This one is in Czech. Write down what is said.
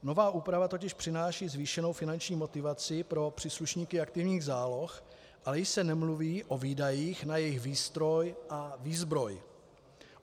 Nová úprava totiž přináší zvýšenou finanční motivaci pro příslušníky aktivních záloh, ale již se nemluví o výdajích na jejich výstroj a výzbroj.